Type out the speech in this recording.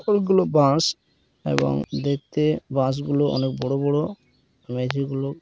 অনেকগুলো বাঁশ এবং দেখতে বাঁশ গুলো অনেক বড়ো বড়ো মেজি গুলো--